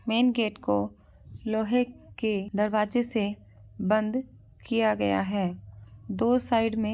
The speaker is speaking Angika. मेन गेट को लोहे के दरवाजे से बंद किया गया है दो साइड में।